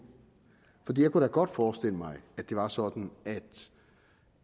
jeg kunne da godt forestille mig at det var sådan